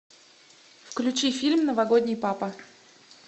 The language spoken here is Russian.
включи фильм новогодний папа